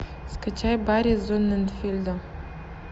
скачай барри зонненфельда